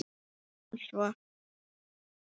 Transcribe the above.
spurði hann svo.